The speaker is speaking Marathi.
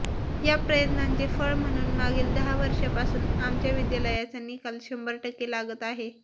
या प्रयत्नांचे फळ म्हणून मागील दहा वर्षांपासून आमच्या विद्यालयाचा निकाल शंभर टक्के लागत आहे